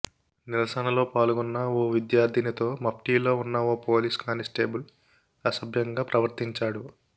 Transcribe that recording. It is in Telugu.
నిరసనలో పాల్గొన్న ఓ విద్యార్థినితో మఫ్టీలో ఉన్న ఓ పోలీస్ కాని స్టేబుల్ అసభ్యంగా ప్రవర్తించాడు